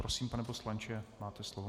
Prosím, pane poslanče, máte slovo.